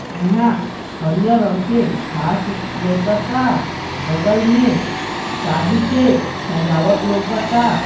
इहाँ हरिया रंग के घास लौकता बगल में शादी के सजावट लौकता।